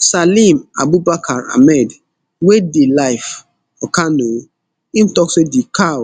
salim abubakar ahmed wey dey live for kano im tok say di cow